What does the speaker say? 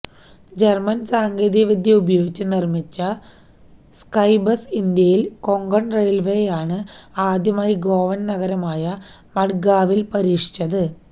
German സാങ്കേതികവിദ്യ ഉപയോഗിച്ചു നിർമിച്ച സ്കൈബസ് ഇന്ത്യയിൽ കൊങ്കൺ റെയിൽവേയാണ് ആദ്യമായി ഗോവൻ നഗരമായ മഡ്ഗാവിൽ പരീക്ഷിച്ചത്